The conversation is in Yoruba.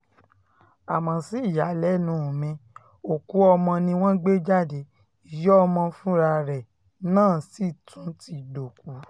àmọ́ sí ìyàlẹ́nu mi òkú ọmọ ni wọ́n gbé jáde ìyá ọmọ fúnra ẹ̀ náà sì tún ti dòkú